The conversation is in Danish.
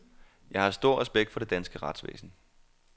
Jeg har stor respekt for det danske retsvæsen.